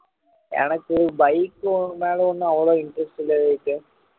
எனக்கு bike குக மேல ஒன்னும் அவ்வளவு interest இல்லை விவேக்